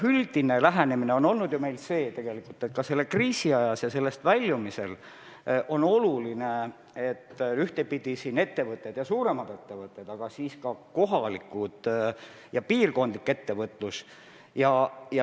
Üldine lähenemine on ju meil tegelikult olnud, et ka selle kriisi ajal ja sellest väljumisel on oluline, et ettevõtted – suuremad ettevõtted, aga siis ka kohalikud ja piirkondlikud ettevõtted – peavad tegutsema.